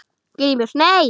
GRÍMUR: Nei!